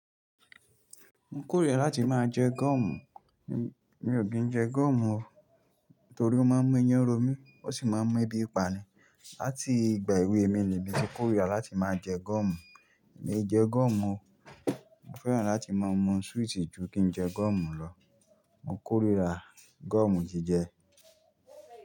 Mo ń kórira láti máa jẹ gọ́ọ̀mù. Mi ò kí ń jẹ gọ́ọ̀mù o. Nítorí ó máa ń mú iyán ro mí, ó sì máa ń mú ẹbí pa ni. Átì gbà èwe mi ni mi ti kórira láti máa jẹ gọ́ọ̀mù. Èmi jẹ gọ́ọ̀mù o. Mo fẹ́ràn láti máa mú súwìtì ju kí n jẹ gọ́ọ̀mù lọ. Mo ń kórira gọ́ọ̀mù tí jẹ.